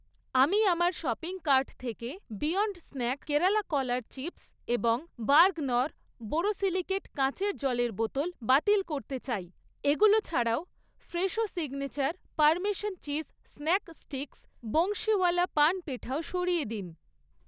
আমি আমার shopping cart থেকে বিয়ন্ড স্ন্যাক কেরালা কলার চিপস্ এবং বার্গনর বোরোসিলিকেট কাঁচের জলের বোতল বাতিল করতে চাই। এগুলো ছাড়াও, Fresho signature parmesan cheese snack sticks, Bansiwala paan পেঠাও সরিয়ে দিন।